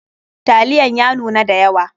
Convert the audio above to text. Taliyan ya nuna da yawa.